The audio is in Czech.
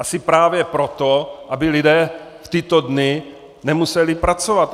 Asi právě proto, aby lidé v tyto dny nemuseli pracovat.